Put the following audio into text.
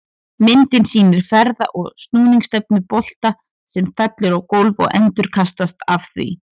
Myndin sýnir ferða- og snúningsstefnu bolta sem fellur á gólf og endurkastast af því.